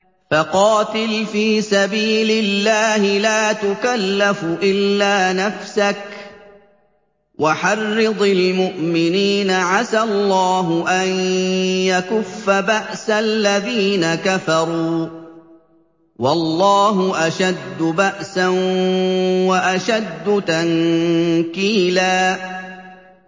فَقَاتِلْ فِي سَبِيلِ اللَّهِ لَا تُكَلَّفُ إِلَّا نَفْسَكَ ۚ وَحَرِّضِ الْمُؤْمِنِينَ ۖ عَسَى اللَّهُ أَن يَكُفَّ بَأْسَ الَّذِينَ كَفَرُوا ۚ وَاللَّهُ أَشَدُّ بَأْسًا وَأَشَدُّ تَنكِيلًا